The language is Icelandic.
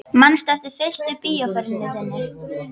Manstu eftir fyrstu bíóferð þinni?